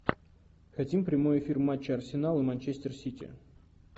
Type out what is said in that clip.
хотим прямой эфир матча арсенал и манчестер сити